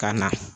Ka na